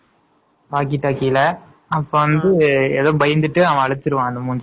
walkie டாக்கில அப்ப வந்துட்டு எதோ பயந்துட்டு அவன் அழுச்சுருவான்